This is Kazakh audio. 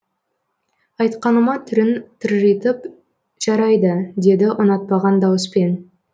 айтқаныма түрін тыржитып жәрайды деді ұнатпаған дауыспен